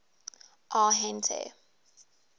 arhente